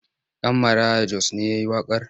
Ɗan Maraya Jos ne ya yi waƙar?